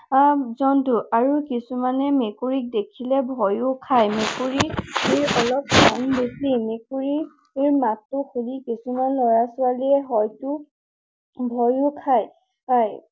জন্তু আৰু কিছুমানে মেকুৰীক দেখিলে ভয়ো খায়। মেকুৰীৰ অলপ বেছি। মেকুৰীৰ মাতটো শুনি কিছুমান লৰা ছোৱালীয়ে হয়তো ভয়ো খায়।